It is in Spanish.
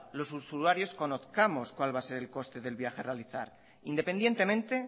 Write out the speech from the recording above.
los usuarios conozcamos cuál va a ser el coste del viaje a realizar independientemente